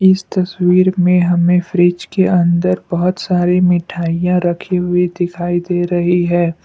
इस तस्वीर में हमें फ्रिज के अंदर बहुत सारी मिठाइयां रखी हुई दिखाई दे रही है।